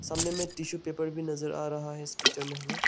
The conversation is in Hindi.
हमने में टिशू पेपर भी नजर आ रहा है इस पिक्चर में हमें--